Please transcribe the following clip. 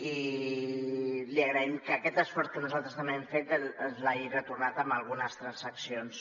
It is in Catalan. i li agraïm que aquest esforç que nosaltres també hem fet ens l’hagi retornat amb algunes transaccions